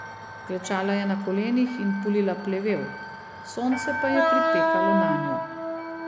Klečala je na kolenih in pulila plevel, sonce pa je pripekalo nanjo.